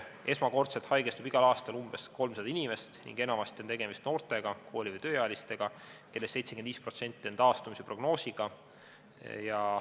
Esmakordselt haigestub igal aastal umbes 300 inimest ning enamasti on tegemist noortega, kooli- või tööealistega, kellest 75% on taastumise prognoosiga.